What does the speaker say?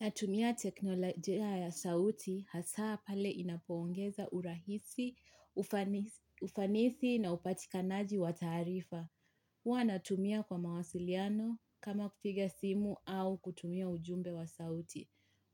Natumia teknolojia ya sauti hasaa pale inapoongeza urahisi, ufanisi na upatikanaji wa taarifa. Huwa natumia kwa mawasiliano kama kupiga simu au kutumia ujumbe wa sauti.